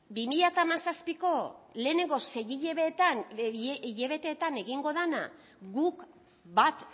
bi mila hamazazpi lehenengo sei hilabeteetan egingo dena guk bat